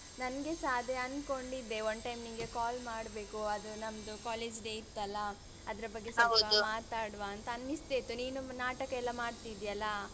ನಂಗೆಸ ಅದೇ ಅನ್ಕೊಂಡಿದ್ದೆ one time ನಿಂಗೆ call ಮಾಡ್ಬೇಕು ಅದು ನಮ್ದು college day ಇತ್ತಲ್ಲಾ ಅದ್ರ ಬಗ್ಗೆ ಸ್ವಲ್ಪ ಮಾತಾಡುವ ಅಂತ ಅನ್ನಿಸ್ತಿತ್ತು ನೀನು ನಾಟಕ ಎಲ್ಲ ಮಾಡ್ತಿದ್ಯಲ್ಲ.